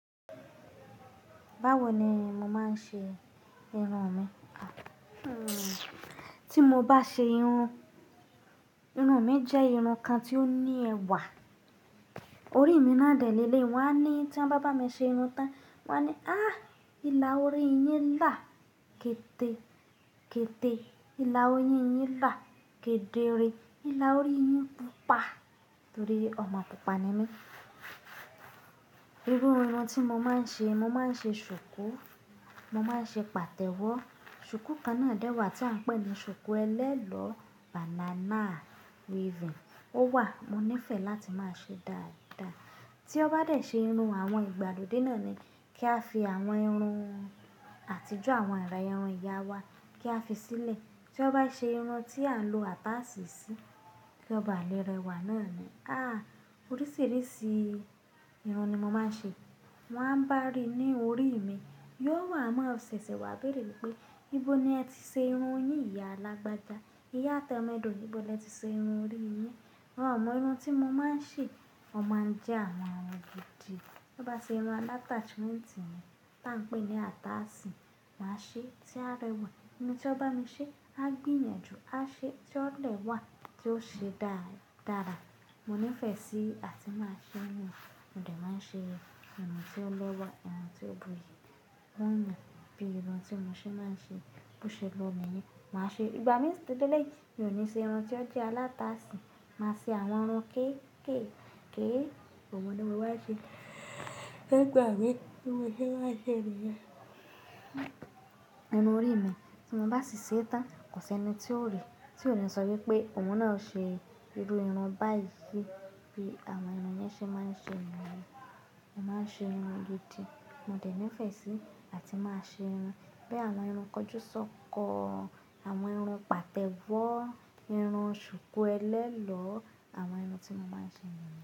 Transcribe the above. Báwo ni mo màá n ṣe irun mi? Ti mo bá ṣe irun, irun mi jẹ́ irun kan tí ó ní ẹwà. Orí mi náà dẹ̀ léle. Wọ́n á ní tí wọ́n bá bá mi ṣe irun tán, wọ́n á ní, "áh! Ìlà orí yín là kéde, kéde. Ìlà ori yín là kéde re. Ìlà orí yín pupa." torí ọmọ pupa ni mí. Iru irun tí mo máa ń ṣe, mo máa ń ṣe ṣùkú, mo máa ń ṣe pàtẹ́wọ́. Ṣùkú kan náà dẹ́wà tí à ń pè ní ṣùkú ẹlẹ́lọ́ banana weaving. Ó wà, mo nífẹ̀ẹ́ láti máa ṣe dáadaa. Tí ó bá dẹ̀ ṣe irun àwọn ìgbàlódé náà ni kí a fi àwọn irun àtijọ́ àwọn ará irun ìyá wa kí a fi sílẹ̀. Tí ó bá ṣe irun tí à ń lo ataasì sí, kí ó bá lẹ́rẹ́wà náà ni. Ah! Oríṣìíríṣìí irun ni mo máa ń ṣe. Wọ́n á ń bá rí i ní orí mi. Yóò wà mọ́ ṣẹ̀ṣẹ̀ wọ́n á béèrè wípé, "níbo ni ẹ ti ṣe irun yín ìyá alágbáda? Iyá tẹ́mẹ́dò níbo ni ẹ ti ṣe irun orí yín?" Wọn ò mọ irun tí mo máa ń ṣe. Wọ́n máa ń jẹ́ àwọn ohun gidì. Tí ó bá ṣe irun atáshmẹ̀ntì ni tí à ń pè ní ataasì, máa ṣe tí á rẹwa. Ẹni tí ó bá mi ṣe á gbìyànjú, á ṣe tí ó lè wà tí ó ṣe dáradara. Mo nífẹ̀ẹ́ sí àti máa ṣe irun, mo dẹ̀ máa ṣe irun tí ó lọ́wọ́, irun tí ó bu'yi. Wọn mọ bí irun tí mo ṣe máa ń ṣe. Bó ṣe lọ́ niyen, màá ṣe. Ìgbà mí sì tó lélẹ̀ yìí, mi ò ní ṣe irun tí ó jẹ́ alátasì. Màá ṣe àwọn irun kéékèèké. Òun ní mo máa ṣe. Nigbàá mi, irun tí mo ṣe má ṣẹ̀ ní yen. Irun orí mi tí mo bá sì ṣe tán, kò sí ẹni tí ó rí, tí ò ní sọ wípé òun náà ṣe gbogbo irun báyìí bí àwọn ènìyàn ṣe máa ń ṣe irun wọn. Mo máa ń ṣe irun gidi, mo dẹ̀ nífẹ̀ẹ́ sí àti máa ṣe irun bí àwọn irun kọjúsọkọ, àwọn irun pàtẹ́wọ́, irun ṣùkú ẹlẹ́lọ́, àwọn irun tí mo máa ń ṣe nìyẹn.